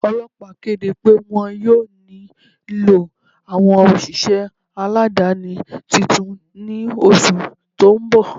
Ọlọpà kede pẹ wọn yọ̀ọ̀ nilọ awọn oṣiṣẹ aládani tuntun ni oṣù tó n bọ̀.